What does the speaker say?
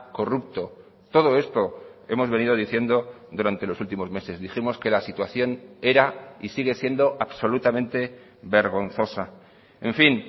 corrupto todo esto hemos venido diciendo durante los últimos meses dijimos que la situación era y sigue siendo absolutamente vergonzosa en fin